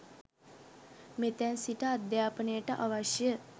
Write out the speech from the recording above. මෙතැන් සිට අධ්‍යාපනයට අවශ්‍ය